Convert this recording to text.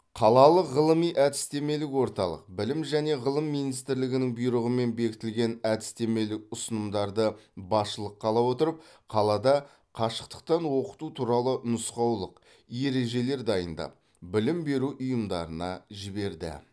қалалық ғылыми әдістемелік орталық білім және ғылым министрлігінің бұйрығымен бекітілген әдістемелік ұсынымдарды басшылыққа ала отырып қалада қашықтықтан оқыту туралы нұсқаулық ережелер дайындап білім беру ұйымдарына жіберді